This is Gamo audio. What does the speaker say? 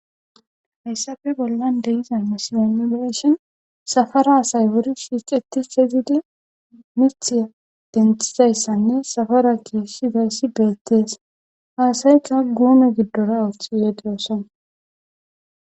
Hayssafe bollan deyiza misimaiireshon safara hasay wuri siixeti fezidi mithiya denthizayssanne safara geeshshidayssi beettees haasayka guume giddora uoth yegeyoson